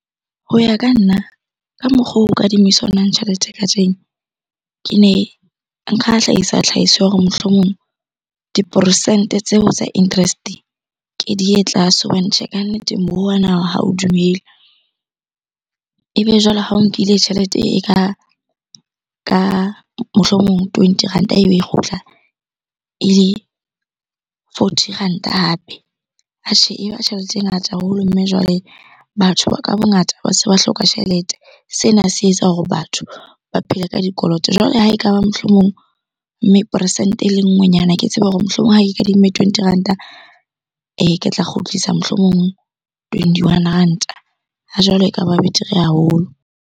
Ho ya ka nna, ka mokgo o kadimisanwang tjhelete kajeno. Ke ne nka hlahisa tlhahiso ya hore mohlomong diporesente tseo tsa interest-e ke di ye tlase hobane tjhe, kannete moruo wa naha ha o dumele. Ebe jwale ha o nkile tjhelete e ka mohlomong twenty ranta ebe e kgutla ele forty ranta hape, atjhe e ba tjhelete e ngata haholo. Mme jwale batho ba ka bongata ba se ba hloka tjhelete. Sena se etsa hore batho ba phele ka dikoloto. Jwale ha ekaba mohlomong, mme poresente ele nngwe nyana ke tsebe hore mohlomong ha ke kadimme twenty ranta ke tla kgutlisa mohlomong twenty-one ranta. Ha jwale ekaba betere haholo.